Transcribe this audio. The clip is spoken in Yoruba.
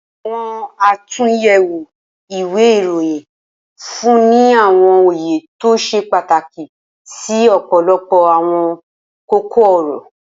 Awọn atunyẹwo iwe iroyin nfunni ni awọn oye to ṣe pataki si ọpọlọpọ awọn koko-ọrọ.